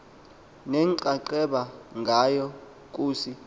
nenxaxheba ngayo kusi